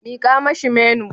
Mika mashi menu.